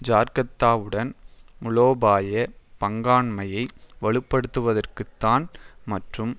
ஜக்கார்த்தாவுடன் மூலோபாய பங்காண்மையை வலுப்படுத்துவதற்குத்தான் மற்றும்